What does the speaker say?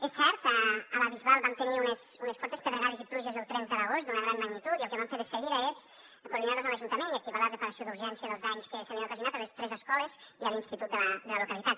és cert a la bisbal vam tenir unes fortes pedregades i pluges del trenta d’agost d’una gran magnitud i el que vam fer de seguida és coordinar nos amb l’ajuntament i activar la reparació d’urgència dels danys que s’havien ocasionat a les tres escoles i a l’institut de la localitat